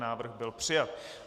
Návrh byl přijat.